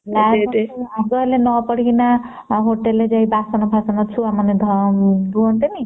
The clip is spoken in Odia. ହଁ ହଁ ଆଗ ହେଲେ ନ ପଢିକିନା hotel ରେ ଯାଇକି ବାସନା ଫାସାନ ଛୁଆ ମାନେ ଧୁଅନ୍ତିନି